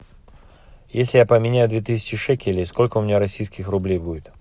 если я поменяю две тысячи шекелей сколько у меня российских рублей будет